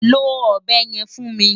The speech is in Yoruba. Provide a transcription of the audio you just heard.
Lo ọ̀bẹ yẹn fún mi!